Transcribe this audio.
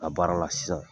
A baara la sisan